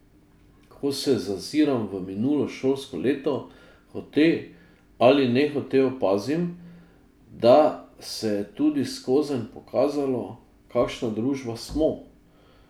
Ko se zaziram v minulo šolsko leto, hote ali nehote opazim, da se je tudi skozenj pokazalo, kakšna družba smo.